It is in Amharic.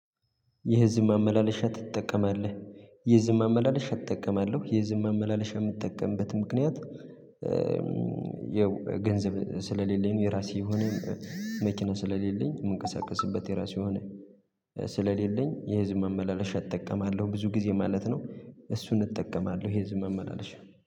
የህዝብ ማመላለሻ ትጠቀማለህ? የህዝብ ማመላለሻ እጠቀማለሁ የህዝብ ማመላለሻ ምጠቀምበት ምክንያት ያው ገንዘብ ስለሌለኝ የራሴ የሆነ መኪና ስለሌለኝ የምንቀሳቀስበት የራሱ ሆነ ስለሌለኝ የህዝብ ማመላለሻ እጠቀማለሁ ብዙ ጊዜ ማለት ነው። እሱን እጠቀማለሁ የህዝብ ማመላለሻ